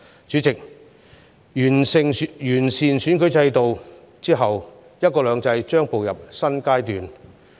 主席，完善選舉制度後，"一國兩制"將步入新階段。